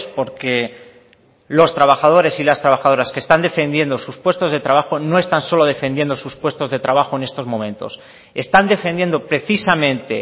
porque los trabajadores y las trabajadoras que están defendiendo sus puestos de trabajo no están solo defendiendo sus puestos de trabajo en estos momentos están defendiendo precisamente